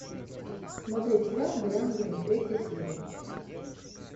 смотреть сериал дориан грей третья серия